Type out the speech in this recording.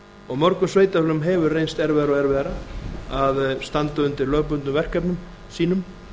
og mörgum sveitarfélögum hefur reynst erfiðara og erfiðara að standa undir lögbundnum verkefnum sínum